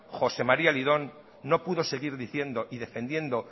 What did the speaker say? josé maría lidón no pudo seguir diciendo y defendiendo